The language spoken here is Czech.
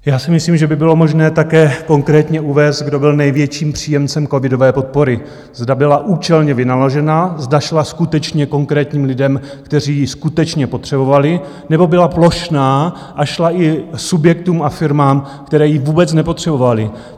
Já si myslím, že by bylo možné také konkrétně uvést, kdo byl největším příjemcem covidové podpory, zda byla účelně vynaložena, zda šla skutečně konkrétním lidem, kteří ji skutečně potřebovali, nebo byla plošná a šla i subjektům a firmám, které ji vůbec nepotřebovaly.